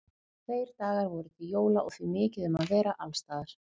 Tveir dagar voru til jóla og því mikið um að vera alls staðar.